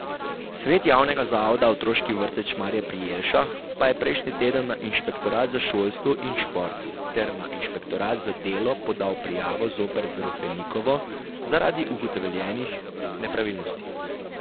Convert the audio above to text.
Svet Javnega zavoda Otroški vrtec Šmarje pri Jelšah pa je prejšnji teden na inšpektorat za šolstvo in šport ter na inšpektorat za delo podal prijavo zoper Drofenikovo zaradi ugotovljenih nepravilnosti.